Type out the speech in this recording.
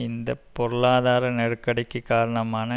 இந்த பொருளாதார நெருக்கடிக்குக் காரணமான